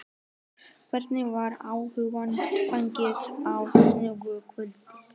Hvernig var áfanganum fagnað á sunnudagskvöld?